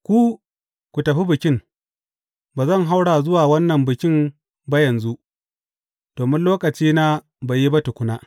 Ku ku tafi Bikin, ba zan haura zuwa wannan Bikin ba yanzu, domin lokacina bai yi ba tukuna.